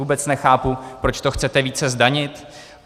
Vůbec nechápu, proč to chcete více zdanit.